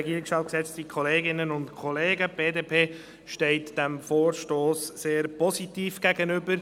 Die BDP steht diesem Vorstoss sehr positiv gegenüber.